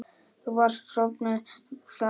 Þú varst sofnuð, svara ég.